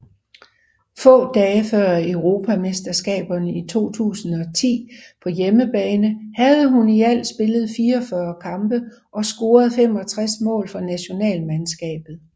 Få dage før Europamesterskaberne 2010 på hjemmebane havde hun i alt spillet 44 kampe og scoret 65 mål for nationalmandskabet